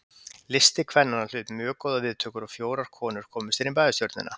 Listi kvennanna hlaut mjög góðar viðtökur og fjórar konur komust inn í bæjarstjórnina.